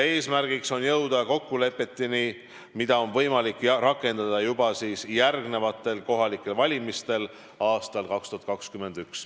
Eesmärk on jõuda kokkulepetele, mida on võimalik rakendada juba järgnevatel kohalikel valimistel aastal 2021.